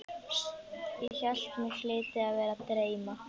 Ég hélt mig hlyti að vera að dreyma.